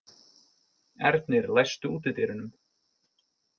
Ernir, læstu útidyrunum.